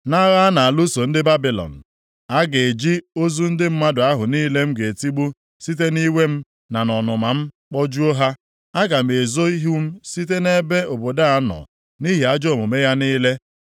nʼagha a na-alụso ndị Babilọn. ‘Aga eji ozu ndị mmadụ ahụ niile m ga-etigbu site nʼiwe m na nʼọnụma m kpojuo ha. Aga m ezo ihu m site nʼebe obodo a nọ, nʼihi ajọ omume ya niile.